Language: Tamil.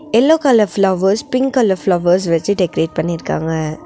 Yellow colour flowers pink colour flowers வச்சு டெக்கரேட் பண்ணிருக்காங்க.